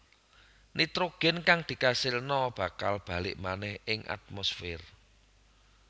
Nitrogén kang dikasilna bakal balik manèh ing atmosfér